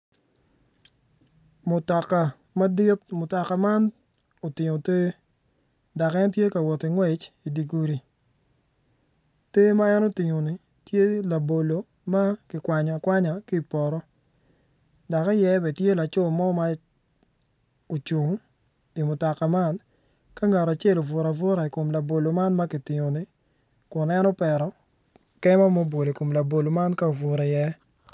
Mutoka madit mutoka man dok en tye ka wot ki ngwec i dye gudi ter man en otingo ni tye labolo ma kikwanyo akwanya ki i poto dok iye tye lacor mo ma ocung i mutoka man.